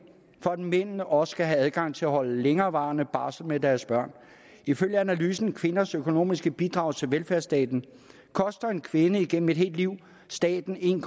for at mændene også skal have adgang til at holde længerevarende barsel med deres børn ifølge analysen kvinders økonomiske bidrag til velfærdsstaten koster en kvinde igennem et helt liv staten en